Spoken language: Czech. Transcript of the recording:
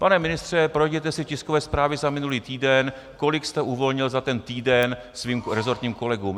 Pane ministře, projděte si tiskové zprávy za minulý týden, kolik jste uvolnil za ten týden svým rezortním kolegům.